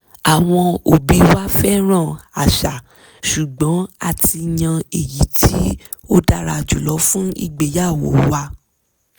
àwọn òbí wa fẹ́ràn àṣà ṣùgbọ́n a ti yan èyí tí ó dára jùlọ fún ìgbéyàwó wa